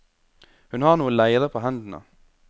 Hun har noe leire på hendene.